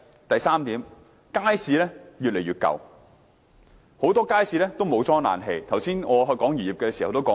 第三點，街市越來越舊，很多街市尚未安裝冷氣，我剛才談及漁業的時候已提及這點。